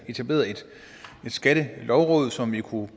etableret skattelovrådet som vi kunne